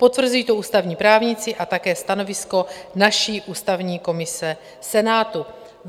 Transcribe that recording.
Potvrzují to ústavní právníci a také stanovisko naší ústavní komise Senátu.